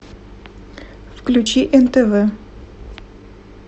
включи нтв